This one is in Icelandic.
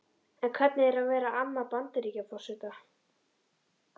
En hvernig er að vera amma Bandaríkjaforseta?